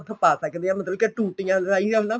ਪਾ ਸਕਦੇ ਹਾਂ ਮਤਲਬ ਕੇ ਟੁਟੀਆਂ ਰਾਹੀ ਆਂਦਾ